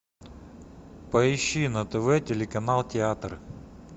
поищи на тв телеканал театр